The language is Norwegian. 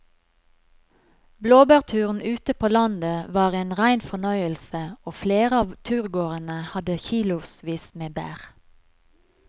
Blåbærturen ute på landet var en rein fornøyelse og flere av turgåerene hadde kilosvis med bær.